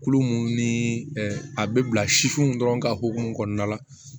Kulo mun ni a bɛ bila sifinw dɔrɔn ka hokumu kɔnɔna la